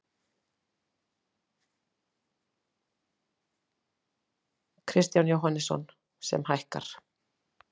Kristján Jóhannesson: Sem hækkar?